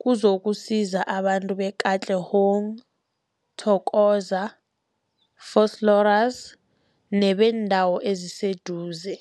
kuzokusiza abantu be-Katlehong, Thokoza, Vosloorus nebeendawo eziseduze.